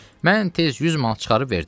Mən tez 100 manat çıxarıb verdim.